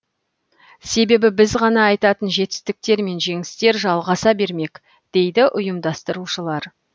себебі біз ғана айтатын жетістіктер мен жеңістер жалғаса бермек дейді ұйымдастырушылар